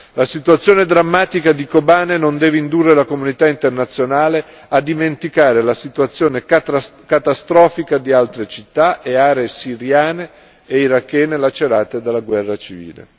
La situazione drammatica di Kobane non deve indurre la comunità internazionale a dimenticare la situazione catastrofica di altre città e aree siriane e irachene lacerate dalla guerra civile.